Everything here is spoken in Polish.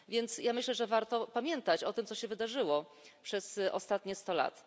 Myślę więc, że warto pamiętać o tym, co się wydarzyło przez ostatnie 100 lat.